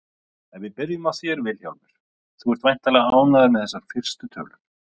Ef við byrjum á þér Vilhjálmur, þú ert væntanlega ánægður með þessar fyrstu tölur?